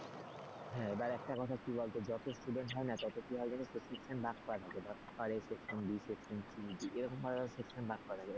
এবার একটা কথা কি বলতো যতো student হয় না তত কি হয় জানিস তো section ভাগ করা থাকে ধর A section B section C D এরকমভাবে section ভাগ করা থাকে,